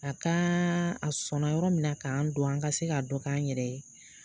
A ka a sɔnna yɔrɔ min na k'an don an ka se ka dɔ k'an yɛrɛ ye